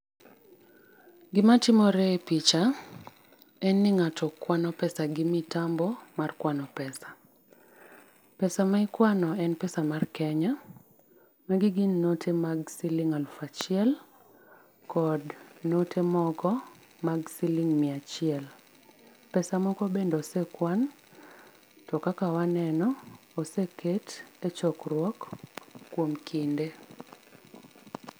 Gimatimore e picha en ni ng'ato kwano pesa gi mitambo mar kwano pesa. Pesa] mikwano en pesa mar Kenya kendo gin note mag siling aluf achiel kod note moko mag siling mia achiel. Pesa moko bende osekwan to kaka waneno oseket e chokruo kuom kinde.